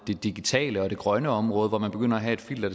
det digitale og det grønne område hvor man begynder at have et filter